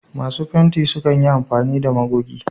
Masu fenti sukan yi amfani da magogi.